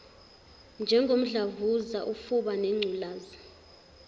njengomdlavuza ufuba nengculaza